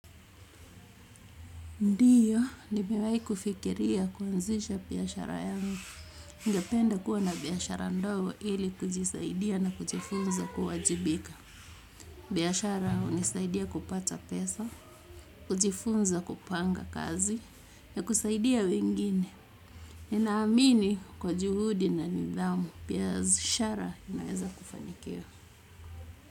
Ndio, nimewahi kufikiria kuanzisha biashara yangu. Ningependa kuwa na biashara ndogo ili kujisaidia na kujifunza kuwajibika. Biashara hunisaidia kupata pesa, kujifunza kupanga kazi, na kusaidia wengine. Ninaamini kwa juhudi na nidhamu. Biashara inaweza kufanikiwa.